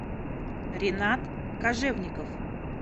ринат кожевников